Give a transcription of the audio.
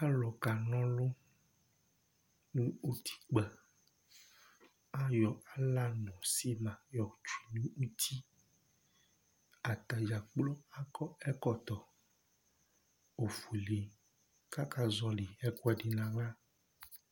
Alu kana ɔlʋ nʋ ʋtikpa Ayɔ ala nʋ sima yɔ tsʋe nʋ ʋti Atadza kplo akɔ ɛkɔtɔ ɔfʋele kʋ aka zɔli ɛkʋɛdi nʋ aɣla